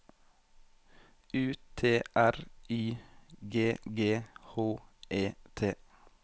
U T R Y G G H E T